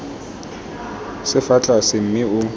se fa tlase mme o